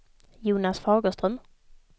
Jonas Fagerström